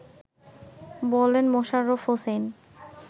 বলেন মোশাররাফ হোসাইন